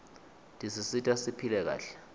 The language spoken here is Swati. tisisita siphile kahle